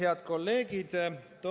Head kolleegid!